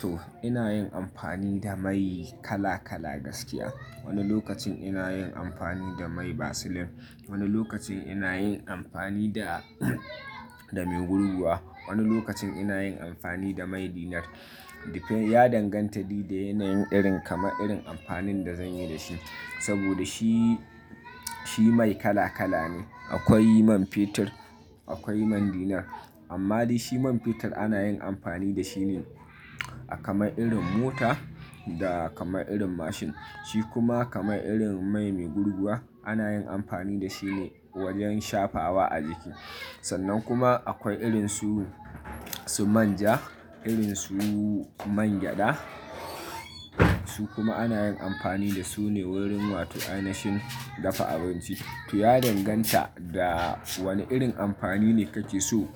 To ina yin amfani da mai kala kala gaskiya. Wani lokacin ina yin amfani da mai Vaseline, wani lokacin ina yin amfani da, da mai gurguwa, wani lokacin ina yin amfani da mai dinar. Depends ya danganta da yanayin irin kamar irin amfanin da zan yi da shi. Saboda shi, shi mai kala kala ne. Akwai man fetur, akwai man dinar. Amma dai shi man fetur ana yin amfani da shi ne a kamar irin mota da kamar irin mashin. Shi kuma kamar irin mai mai gurguwa ana yin amfani da shi ne wajen shafawa a jiki. Sannan kuma akwai irin su, su manja, irin su mangyada, su kuma ana yin amfani da su ne wurin wata yanayin dafa abinci. To ya danganta da wane irin amfani ne kake so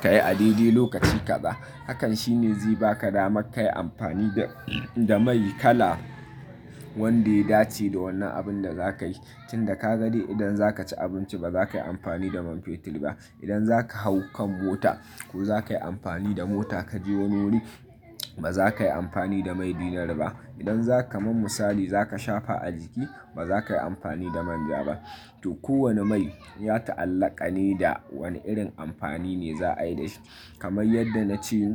ka yi a dai dai lokaci kaɗa. Hakan shine zai baka dama ka yi amfani da, da mai kala wanda ya dace da wannan abinda za ka yi. Tun da ka ga dai idan za ka ci abinci ba za ka yi amfani da man fetur ba. Idan zaka hau kan mota ko za ka yi amfani da mota ka je wani wuri ba za ka yi amfani da mai dinar ba. Idan zaka man misali za ka shafa a jiki ba za ka yi amfani da manja ba. To kowane mai ya ta'allaka ne da wane irin amfani ne za a yi da shi. Kamai yadda na ce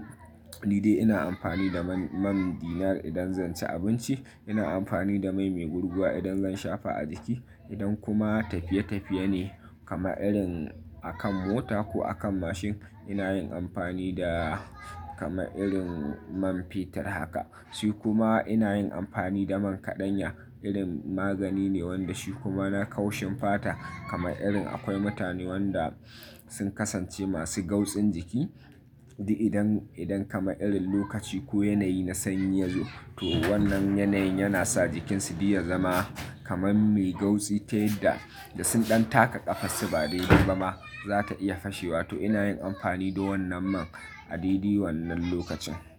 ni dai ina amfani da man, man dinar idan zan ci abinci, ina amfani da mai mai gurguwa idan zan shafa a jiki. Idan kuma tafiye tafiye ne kamar irin a kan mota ko a kan mashin ina yin amfani da kamar irin man fetur haka. Shi kuma ina yin amfani da man kaɗanya irin magani ne wanda shi kuma na kaushin fata kamar irin akwai mutane wanda sun kasance masu gautsin jiki. Di idan, idan kama irin lokaci ko yanayi na sanyi ya zo to wannan yanayin yana sa jikinsu di ya zama kamar mai gautsi ta yadda da sun ɗan taka ƙafansu ba dai dai ba ma za ta iya fashewa. To ina yin amfani da wannan man a dai dai wannan lokacin.